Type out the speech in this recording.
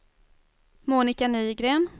Monika Nygren